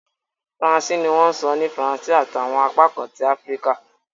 Faransé ni wọ́n sọ ní Faransé ati awọn apakan ti Afirika